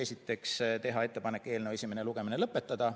Esiteks, teha ettepanek eelnõu esimene lugemine lõpetada.